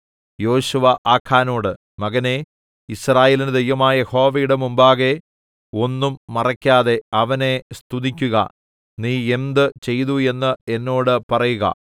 യോശുവ ആഖാനോട് മകനേ യിസ്രായേലിന്റെ ദൈവമായ യഹോവയുടെ മുമ്പാകെ ഒന്നും മറയ്ക്കാതെ അവനെ സ്തുതിക്കുക നീ എന്ത് ചെയ്തു എന്ന് എന്നോട് പറയുക